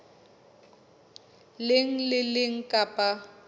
leng le le leng kapa